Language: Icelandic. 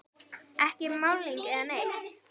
Ekki málning eða neitt.